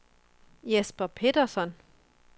Jesper Petersson